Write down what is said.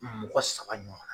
Mɔgɔ saba ɲɔgɔn.